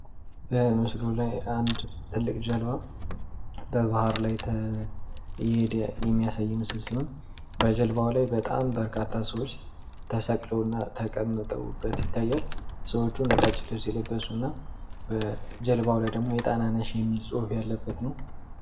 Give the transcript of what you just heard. በምስሉ ላይ አንድ ትልቅ ጀልባ በባህር ላይ እየሄደ የሚያሳይ ምስል ሲሆን በጀልባው ላይ በጣም በርካታ ሰዎች ተሰቅለውና ተቀምጠውበት ይታያል። ሰዎቹ ነጫጭ ልብስ የለበሱ እና ጀልባው ላይ ደግሞ ጣናነሽ የሚል ጽሑፍ ያለበት ነው።